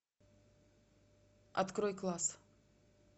открой класс